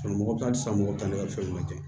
mɔgɔ bɛ taa san mɔgɔ tan ne ka fɛn lajɛ